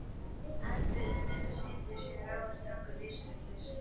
Aðferðin er að setja sér nógu strangar lífsreglur.